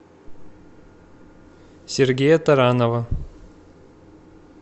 сергея таранова